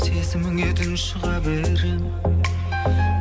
сезіміңе тұншыға беремін